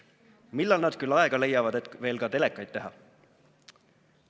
"Millal nad küll aega leiavad, et veel ka telekaid teha?"